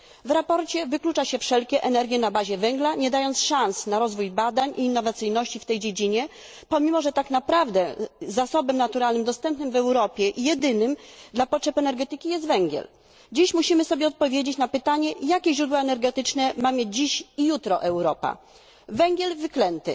W sprawozdaniu wyklucza się wszelkie energie na bazie węgla, nie dając szans na rozwój badań i innowacyjności w tej dziedzinie, pomimo że tak naprawdę jedynym zasobem naturalnym dostępnym w Europie dla potrzeb energetyki jest węgiel. Dziś musimy sobie odpowiedzieć na pytanie, jakie źródła energetyczne ma mieć dziś i jutro Europa węgiel wyklęty